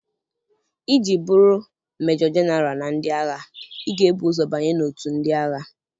Iji bụrụ Mejo Genaral na ndị agha, ị ga-ebu ụzọ banye n'òtù ndị agha.